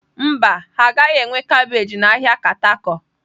Mba, ha agaghị enwe kabeeji na ahịa Katako.